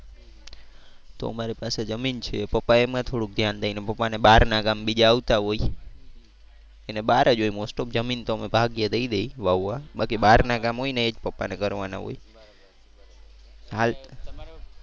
તો અમારે પાસે જમીન છે. પપ્પા એમાં થોડું ધ્યાન દે. પપ્પા ને બહાર ના કામ બીજા આવતા હોય એને બહાર જ હોય most of જમીન તો અમે ભાગ્યે દઈ દઈ વાવવા. બાકી બહાર ના કામ હોય ને એ જ પપ્પા ને કરવાના હોય. બરોબર